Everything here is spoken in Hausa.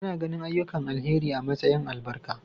Ana ganin ayyukan alheri a matsayin albarka.